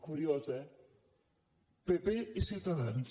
curiós eh pp i ciutadans